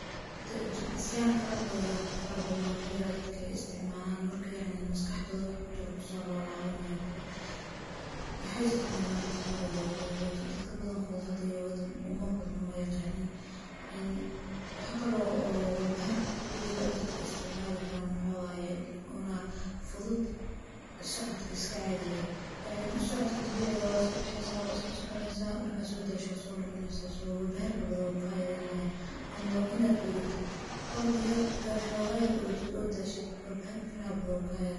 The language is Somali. jumucsiyal kala badho, faro badan waxa jira dadka istcimaanaan markay maskaxda wuxuu ku jiraa kusoo laabanayo kale. Maxay isticmaalaan dad qaar yoogada? Laakiin dadka badankooda hadda yoogada uma buudmo ma yaqaano in in waxga loo walbaheyn ku jiro dadka isticmaalaya karaan. Wuxuu ogaaday una fudud socodka iska caadigeeya, yacni socodka dabiiciga waa iska bixisa oo iska soconeysa markaan soo daasho soo noqoneysa. So walbaheyn badan uu ka yeeraa inay ama inaad urudid urud yar iga xoogga yar urudid uu daahshad walba fara badan ka yeeraa.